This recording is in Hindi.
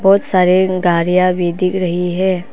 बहुत सारे गाड़ियां भी दिख रही है।